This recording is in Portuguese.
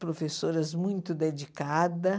Professoras muito dedicada.